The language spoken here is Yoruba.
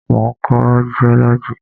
Mo ń kọ́ jiọ́lọ́jì.